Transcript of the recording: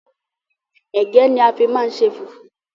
Égẹ́ ni a fi máa ń ṣe fùfú